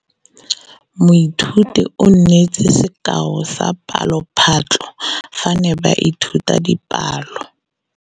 Moithuti o neetse sekaô sa palophatlo fa ba ne ba ithuta dipalo.